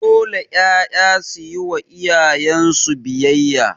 Dole 'ƴaƴa suyi wa iyayen su biyayya